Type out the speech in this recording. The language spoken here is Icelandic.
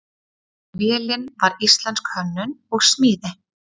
Vélin var íslensk hönnun og smíði.